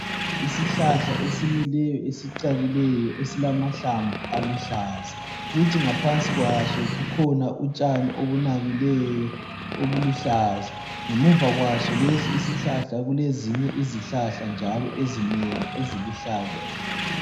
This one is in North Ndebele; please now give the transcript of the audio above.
Isihlahla esimileyo esicakileyo esilamahlamvu aluhlaza, kuthi ngaphansi kwaso kukhona utshani obunabileyo obuluhlaza ngemuva kwaso lesi isihlahla kulezinye izihlahla njalo ezinengi eziluhlaza.